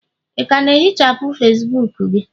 ị ka ga-ehichapụ Facibuku gị?